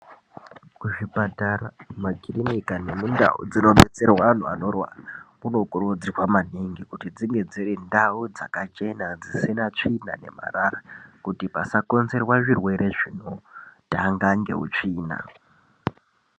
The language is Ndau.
Kuzvipatara ,makirinika nendau dzinodetaerwa antu anorwara kunokurudzirwa maningi kuti dzinge dziri ndau dzakachena dzisina tsvina nemarara kuti pasakonzerwa zvirwere zvinokonzerwa ngeutsvina .